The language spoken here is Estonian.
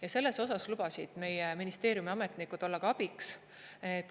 Ja selles osas lubasid meie ministeeriumi ametnikud olla abiks.